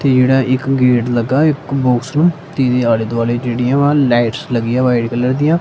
ਤੇ ਜਿਹੜਾ ਇੱਕ ਗੇਟ ਲਗਾ ਇੱਕ ਬੋਕਸ ਨੂੰ ਤੇ ਇਹਦੇ ਆਲੇ ਦੁਆਲੇ ਜਿਹੜੀਆਂ ਵਾ ਲਾਈਟਸ ਲੱਗੀਆਂ ਵਾਈਟ ਕਲਰ ਦੀਆਂ।